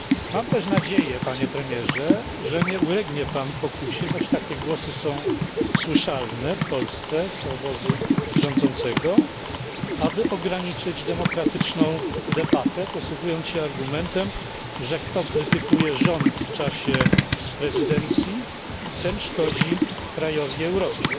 Mam też nadzieję Panie Premierze, że nie ulegnie Pan pokusie, choć takie głosy są słyszalne w Polsce z obozu rządzącego, aby ograniczyć demokratyczną debatę posługując się argumentem, że kto krytykuje rząd w czasie prezydencji, ten szkodzi krajowi i Europie.